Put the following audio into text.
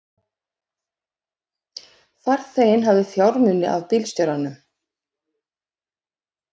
Farþeginn hafði fjármuni af bílstjóranum